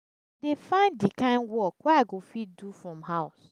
dey find di kain work wey i go fit do from house.